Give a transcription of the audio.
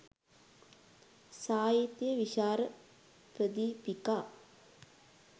සාහිත්‍ය විචාර ප්‍රදීපිකා